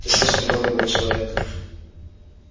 ты слишком долго был человек